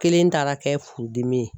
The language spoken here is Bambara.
Kelen taara kɛ furudimi ye.